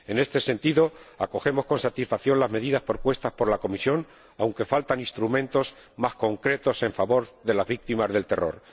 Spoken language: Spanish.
En este sentido, acogemos con satisfacción las medidas propuestas por la Comisión, aunque faltan instrumentos más concretos en favor de las víctimas del terror.